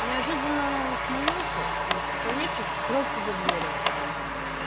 неожиданно он ухмыльнулся и поклонившись скрылся за дверью